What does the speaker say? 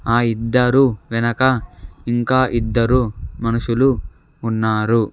ఆ ఇద్దరు వెనక ఇంకా ఇద్దరు మనుషులు ఉన్నారు.